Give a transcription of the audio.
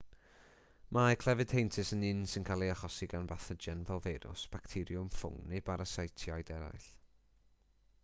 mae clefyd heintus yn un sy'n cael ei achosi gan bathogen fel feirws bacteriwm ffwng neu barasitiaid eraill